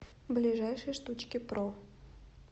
ближайший штучкипро